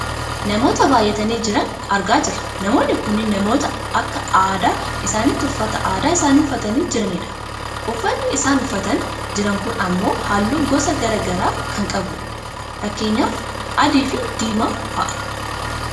Namootaa baayyatanii jiran argaa jirra. Namoonni kunneen namoota akka aadaa isaaniitti uffata aadaa isaanii uffatanii jiranidha. Uffanni isaan uffatanii jiran kun ammoo halluu gosa gara garaa kan qabudha. Fakkeenyaaf adii fi diimaa fa'i.